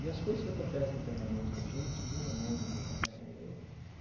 E as coisas que acontecem internamente na gente muda muito eh eu.